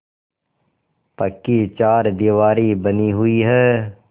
पक्की चारदीवारी बनी हुई है